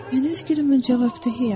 Mən öz gülümün cavabdehisiəm.